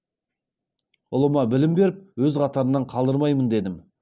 ұлыма білім беріп өз қатарынан қалдырмаймын дедім